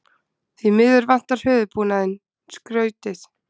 Því miður vantar höfuðbúnaðinn, skautið.